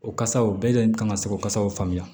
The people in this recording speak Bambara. O kasaw bɛɛ de kan ka se k'o kasaw faamuya